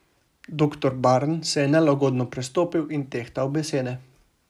Doktor Barn se je nelagodno prestopil in tehtal besede.